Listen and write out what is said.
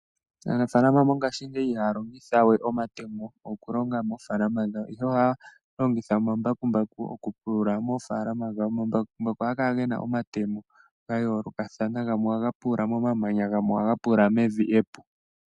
Aanafalama mongaashingeyi ihaya longitha we omatemo, okulonga moofalama dhawo, ihe ohaya longitha omambakumbaku okupulula moofaalama dhawo. Omambakumbaku ohaga kala gena omatemo gayoolokathana, gamwe ohaga pulula momamanya, nogamwe ohaga pulula mevi epu.